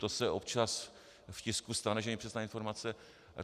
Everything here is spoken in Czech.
To se občas v tisku stane, že nepřesná informace...